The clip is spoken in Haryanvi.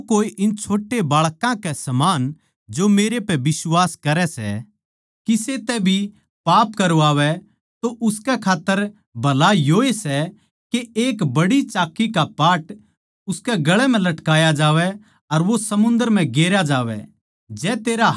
पर जो कोए इन छोट्या बाळकां समान जो मेरै पै बिश्वास करै सै किसे तै भी पाप करवावै तो उसकै खात्तर भला योए सै के एक बड्डी चाक्की का पाट उसकै गळ म्ह लटकाया जावै अर वो समुंदर म्ह गेरया जावै